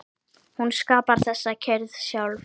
Hún skapar þessa kyrrð sjálf.